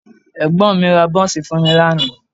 Ẹ̀gbọ́n mi ra bọ́ńsì fún mi lánàá